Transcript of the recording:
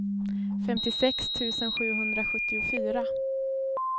femtiosex tusen sjuhundrasjuttiofyra